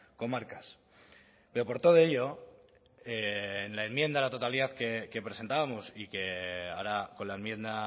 comarcas pero por todo ello en la enmienda a la totalidad que presentábamos y que ahora con la enmienda